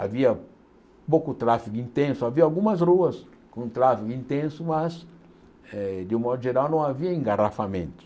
Havia pouco tráfego intenso, havia algumas ruas com tráfego intenso, mas, eh de um modo geral, não havia engarrafamento.